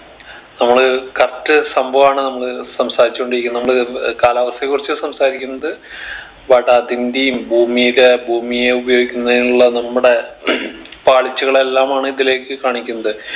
നമ്മള് correct സംഭവാണ് നമ്മള് സംസാരിച്ച് കൊണ്ടിരിക്കുന്നെ നമ്മള് ഏർ കാലാവസ്ഥയെ കുറിച്ച് സംസാരിക്കുന്നത് വടാതിന്റേം ഭൂമിടെ ഭൂമിയെ ഉഭയോഗിക്കുന്നതിനുള്ള നമ്മുടെ പാളിച്ചകൾ എല്ലാമാണ് ഇതിലേക്ക് കാണിക്കുന്നത്